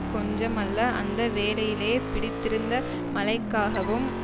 கொஞ்சமல்ல அந்த வேளையிலே பிடித்திருந்த மழைக்காகவும்